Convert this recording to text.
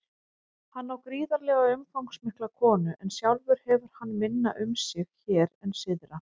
Hann á gríðarlega umfangsmikla konu en sjálfur hefur hann minna um sig hér en syðra.